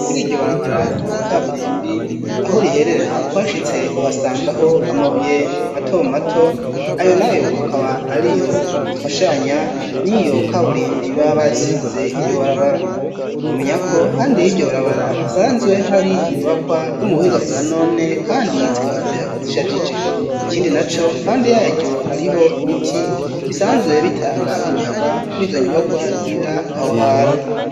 Kuriryo barabara ry'ikaburembi aho riherera uhashitse uhasangaho amabuye mato mato ayo nayo akaba ariyo afashanya niyo kaburembi baba basize iryo barabara womenyako hande yiryo barabara hasanzwe hari inyubakwa zo mubuhinga bwa none kandi zikaba zishajije ikindi naco hande yaryo hariho ibiti bisanzwe bitanga umuyaga kurizo nyubakwa ziba aho hantu